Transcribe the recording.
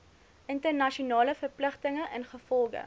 internasionale verpligtinge ingevolge